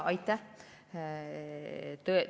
Aitäh!